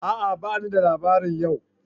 A'a! bani da labari yau